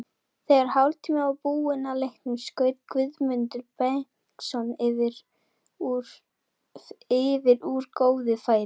Þegar hálftími var búinn af leiknum skaut Guðmundur Benediktsson yfir úr góðu færi.